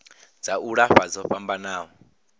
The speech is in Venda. dza u lafha dzo fhambanaho